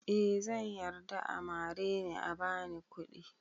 Eh zan yarda a mare ni a bani kuɗi